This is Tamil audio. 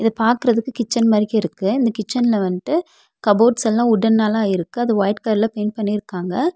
பாக்குறதுக்கு கிச்சன் மாரிக்கே இருக்கு இந்த கிச்சன்ல வன்ட்டு கப்போர்ட்ஸ் எல்லா வுட்டன்ல ஆயிருக்கு அத ஒயிட் கலர்ல பெயிண்ட் பண்ணிருக்காங்க.